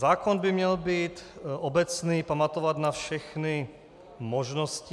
Zákon by měl být obecný, pamatovat na všechny možnosti.